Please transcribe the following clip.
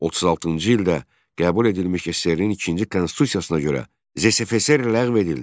36-cı ildə qəbul edilmiş SSRİ-nin ikinci konstitusiyasına görə ZSFSR ləğv edildi.